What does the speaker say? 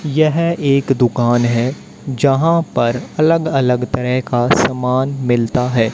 यह एक दुकान है यहां पर अलग अलग तरह का सामान मिलता है।